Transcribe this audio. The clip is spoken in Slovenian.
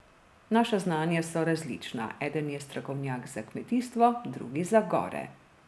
Naša znanja so različna, eden je strokovnjak za kmetijstvo, drugi za gore.